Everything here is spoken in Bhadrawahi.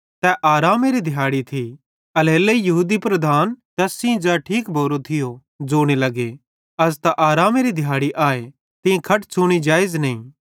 तै आरामेरी दिहाड़ी थी एल्हेरेलेइ यहूदी लीडर तैस सेइं ज़ै ठीक भोरो थियो ज़ोने लग्गे अज़ त आरामेरी दिहाड़ी आए तीं खट छ़ूनी जेइज़ नईं